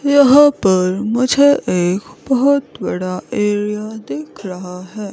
यहां पर मुझे एक बहोत बड़ा एरिया दिख रहा है।